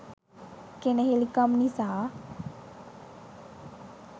කෙණෙහිලිකම් නිසා